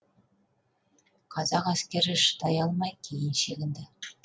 қазақ әскері шыдай алмай кейін шегінді